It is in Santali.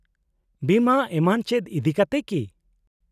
-ᱵᱤᱢᱟᱹ ᱮᱢᱟᱱ ᱪᱮᱫ ᱤᱫᱤᱠᱟᱛᱮ ᱠᱤ ?